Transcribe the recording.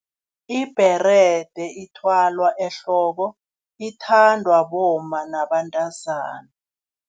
Ibherede ithwalwa ehloko, ithandwa bomma nabantazana.